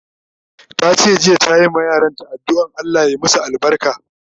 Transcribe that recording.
Tace jiya ta yi ma yaran ta adduan Allah ya masu albarka